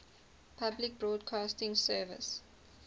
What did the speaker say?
public broadcasting service